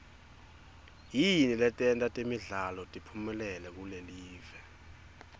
yini leyenta temidlalo tiphumelele kulelive